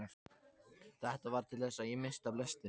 Þetta varð til þess að ég missti af lestinni.